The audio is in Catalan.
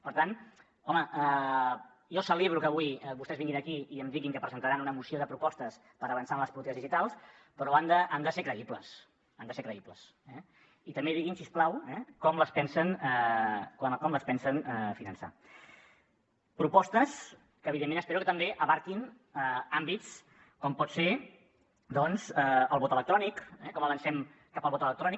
per tant home jo celebro que avui vostès vinguin aquí i em diguin que presentaran una moció de propostes per avançar en les polítiques digitals però han de ser creïbles han de ser creïbles i també diguin si us plau com les pensen finançar propostes que evidentment espero que també abastin àmbits com pot ser doncs el vot electrònic com avancem cap al vot electrònic